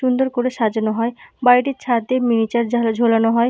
সুন্দর করে সাজানো হয় বাড়িতে ছাদে মিনিচার ঝা ঝোলানো হয়।